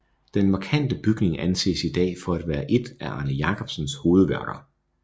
Den markante bygning anses i dag for at være et af Arne Jacobsens hovedværker